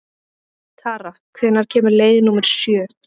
Tara, hvenær kemur leið númer sjö?